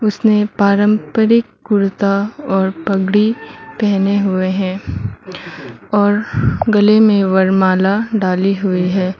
पारंपरिक कुर्ता और पगड़ी पहने हुए हैं और गले में वरमाला डाली हुई है।